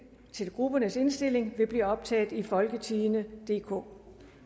til gruppernes indstilling vil blive optaget i folketingstidende DK